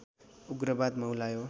उग्रवाद मौलायो